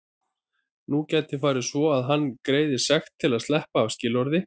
Nú gæti farið svo að hann greiði sekt til að sleppa af skilorði.